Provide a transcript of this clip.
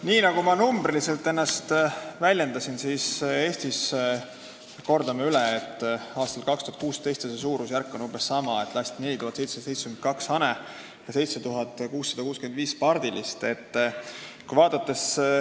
Nii nagu ma ennast numbriliselt väljendasin, siis Eestis, kordame üle, lasti aastal 2016 – see suurusjärk on praegu sama – 4772 hane ja 7665 pardilist.